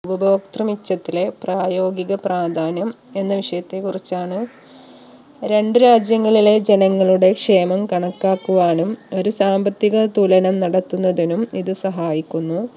ഉപഭോക്തൃ മിച്ചത്തിലെ പ്രായോഗിക പ്രാധാന്യം എന്ന വിഷയത്തെ കുറിച്ചാണ് രണ്ടു രാജ്യങ്ങളിലെ ജനങ്ങളുടെ ക്ഷേമം കണക്കാക്കുവാനും ഒരു സാമ്പത്തിക തുലനം നടത്തുന്നതിനും ഇത് സഹായിക്കുന്നു